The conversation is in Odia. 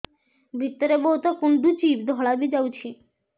ଭିତରେ ବହୁତ କୁଣ୍ଡୁଚି ଧଳା ବି ଯାଉଛି